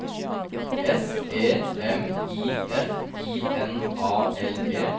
S E M I F I N A L E